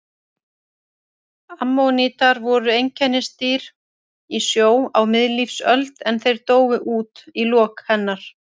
Ammonítar voru einkennisdýr í sjó á miðlífsöld en þeir dóu út í lok hennar.